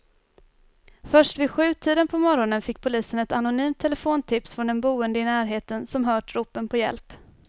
Först vid sjutiden på morgonen fick polisen ett anonymt telefontips från en boende i närheten som hört ropen på hjälp.